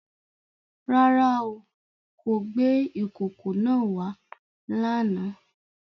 Rárá o, kò gbé ìkòkò náà wá lánàá.